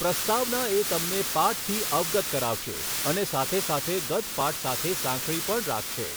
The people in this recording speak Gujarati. પ્રસ્તાવના એ તમને પાઠથી અવગત કરાવશે અને સાથેસાથે ગત પાઠ સાથે સાંકળી પણ રાખશે.